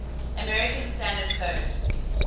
american standard code